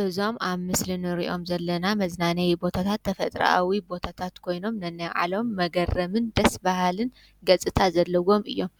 እዞም ኣብ ምስሊ ንሪኦም ዘለና መዝናነዩ ቦታታት ተፈጥራኣዊ ቦታታት ኮይኖም ነናይባዕሎም መገረምን ደስ በሃልን ገፅታ ዘለዎም እዮም፡፡